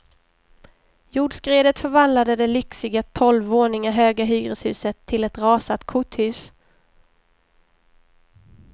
Jordskredet förvandlade det lyxiga tolv våningar höga hyreshuset till ett rasat korthus.